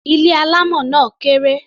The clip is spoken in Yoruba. Ilé alámọ̀ náà kéré.